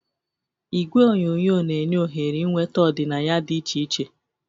Igwe onyonyo na-enye ohere ịnweta ọdịnaya dị iche iche.